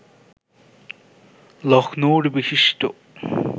লক্ষ্ণৌর বিশিষ্ট